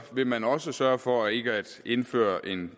vil man også sørge for ikke at indføre en